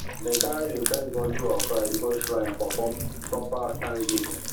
dem carry di first bundle of rice go shrine for proper thanksgiving